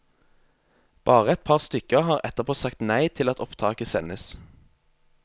Bare et par stykker har etterpå sagt nei til at opptaket sendes.